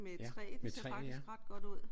Ja. Med træ ja